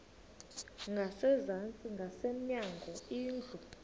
ngasezantsi ngasemnyango indlu